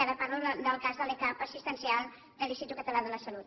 ara parlo del cas de l’e cap assistencial de l’institut català de la salut